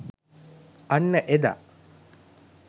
අන්න එදා